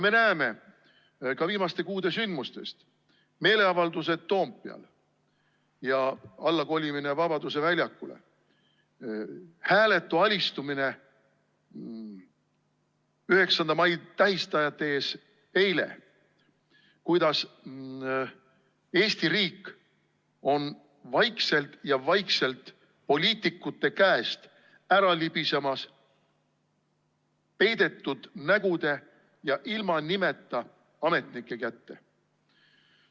Me näeme ka viimaste kuude sündmustest – meeleavaldused Toompeal ja alla Vabaduse väljakule kolimine, eilne hääletu alistumine 9. mai tähistajate ees –, kuidas Eesti riik on vaikselt-vaikselt poliitikute käest ära libisemas peidetud nägude ja ilma nimeta ametnike kätte.